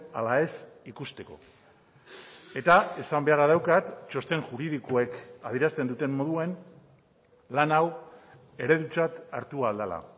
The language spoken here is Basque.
ala ez ikusteko eta esan beharra daukat txosten juridikoek adierazten duten moduan lan hau eredutzat hartu ahal dela